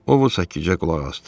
O sakitcə qulaq asdı.